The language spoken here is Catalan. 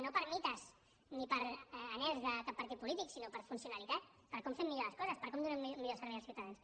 no per mites ni per anhels de cap partit polític sinó per funcionalitat per com fem millor les coses per com donem millor servei als ciutadans